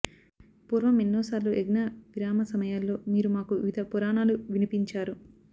పూర్వం ఎన్నోసార్లు యజ్ఞ విరామ సమయాల్లో మీరు మాకు వివిధ పురాణాలు వినిపించారు